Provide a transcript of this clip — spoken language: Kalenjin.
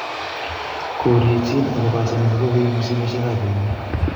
korichin akobo asenet nekokoibu simeshek wab eunek